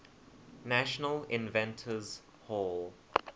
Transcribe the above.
national inventors hall